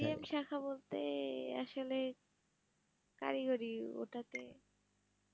B. M শাখা বলতে আসলে কারিগরি ওটাতে